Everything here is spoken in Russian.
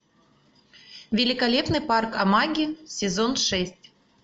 великолепный парк амаги сезон шесть